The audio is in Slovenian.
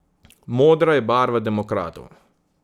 Modra je barva demokratov.